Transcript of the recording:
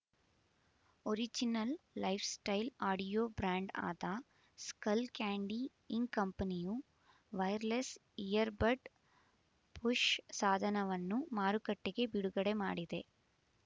original lifestyle audio brand ಆದ Skullcandy Inc ಕಂಪನಿಯು wireless earbud push ಸಾಧನವನ್ನು ಮಾರುಕಟ್ಟೆಗೆ ಬಿಡುಗಡೆ ಮಾಡಿದೆ